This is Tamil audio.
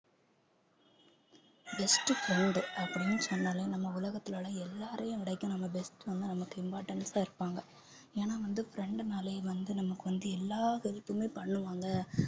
best friend அப்படின்னு சொன்னாலே நம்ம உலகத்திலே உள்ள எல்லாரையும் விட நம்ம best வந்து, நமக்கு importance ஆ இருப்பாங்க ஏன்னா வந்து friend னாலே வந்து நமக்கு வந்து எல்லா help மே பண்ணுவாங்க